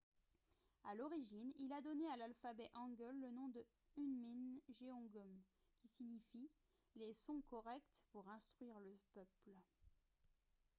à l’origine il a donné à l’alphabet hangeul le nom de hunmin jeongeum qui signifie « les sons corrects pour instruire le peuple »